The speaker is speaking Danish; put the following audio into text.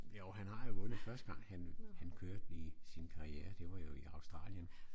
Jo han har jo vundet første gang han han kørte i sin karriere det var jo i Australien